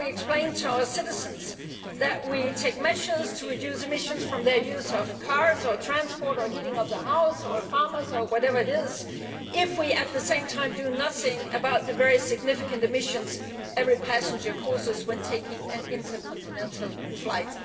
How can we explain to our citizens that we are taking measures to reduce emissions from their use of cars, transport or the heating of their house, farms or whatever it is, if at the same time we do nothing about the very significant emissions every passenger causes when taking an intercontinental flight?